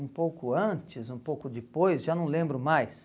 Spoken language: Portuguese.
Um pouco antes, um pouco depois, já não lembro mais.